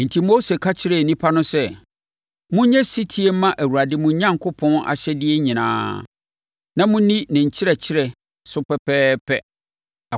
Enti, Mose ka kyerɛɛ nnipa no sɛ, “Monyɛ ɔsetie mma Awurade mo Onyankopɔn ahyɛdeɛ nyinaa, na monni ne nkyerɛkyerɛ so pɛpɛɛpɛ.